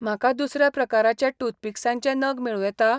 म्हाका दुसऱ्या प्रकाराचे टूथपिक्सांचे नग मेळूं येता?